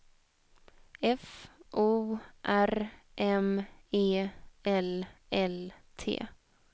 F O R M E L L T